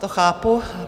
To chápu.